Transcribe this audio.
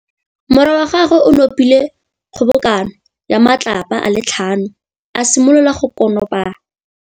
Morwa wa gagwe o nopile kgobokanô ya matlapa a le tlhano, a simolola go konopa.